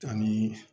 Ani